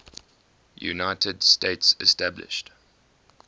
united states established